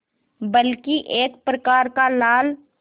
बल्कि एक प्रकार का लाल